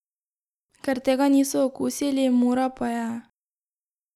Ker tega niso okusili, Mura pa je ...